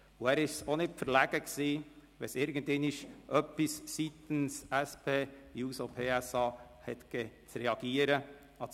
Er war auch nicht verlegen, wenn es einmal in Bezug auf die SP-JUSO-PSA-Fraktion zu reagieren galt.